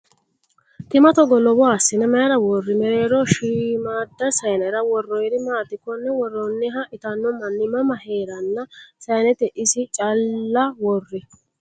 Tima togo lowoha assine mayiira worri? Mereeroho shiimmada sayiinnara worroyiiri maati? Konne worrooniha itanno manni mama heerenna sayiinete isi calla worri?